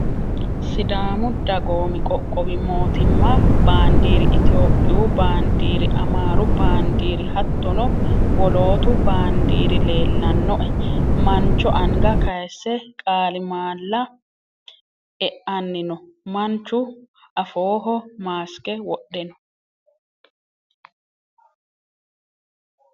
Sidaamu dagoomi qoqqowi mootimma baandiiri itiyoophiyu baandiiri amaaru baandiiri hattono woloottu baandiiri leellannoe. mancho anga kayise qaalimaalla eanni no. Manchu afooho maaske wodhe no.